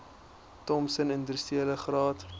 thompson industriele graad